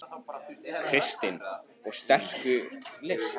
Kristinn: Og sterkur listi?